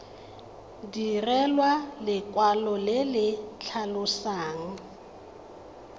direlwa lekwalo le le tlhalosang